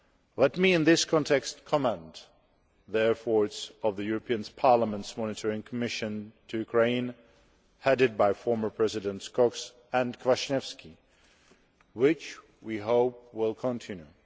Let me in this context commend the efforts of the European Parliament's monitoring mission to Ukraine headed by former Presidents Cox and Kwaśniewski, which we hope will continue.